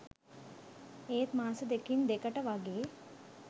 ඒත් මාස දෙකින් දෙකට වගේ